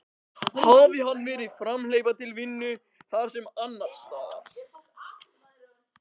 Hafi hann verið hamhleypa til vinnu, þarna sem annars staðar.